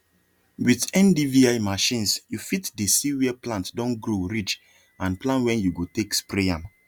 with ndvi machinesyou fit dey see where plant don grow reach and plan when you go take spray am